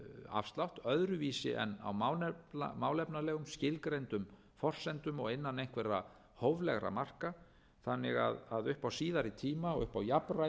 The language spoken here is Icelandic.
afslátt öðruvísi en á málefnalegum skilgreindum forsendum og innan einhverra hóflegra marka þannig að upp á síðari tíma og upp á jafnræði